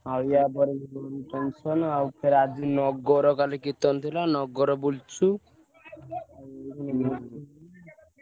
ଆଉ ୟା ପରେ ବି function ଆଉ ଫେର ଆଜି ନଗର କାଲି କୀର୍ତନ ଥିଲା ଆଜି ନଗର ବୁଲିଚୁ।